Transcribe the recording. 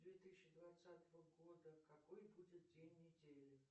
две тысячи двадцатого года какой будет день недели